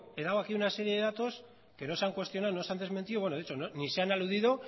he dado aquí una serie de datos que no se han cuestionado no se han desmentido bueno de hecho ni se han aludido